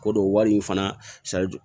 Ko don wari in fana